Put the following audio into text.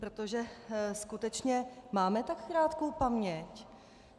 Protože skutečně máme tak krátkou paměť?